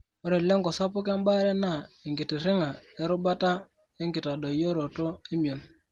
ore lengo sapuk embaare naa enkitiring'a erubata ekitadoyioroto emion.